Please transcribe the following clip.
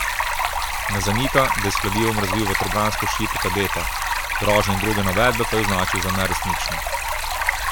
Ne zanika, da je s kladivom razbil vetrobransko šipo kadetta, grožnje in druge navedbe pa je označil za neresnične.